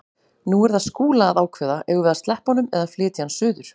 Nú er það Skúla að ákveða: Eigum við að sleppa honum eða flytja hann suður?